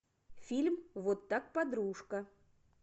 фильм вот так подружка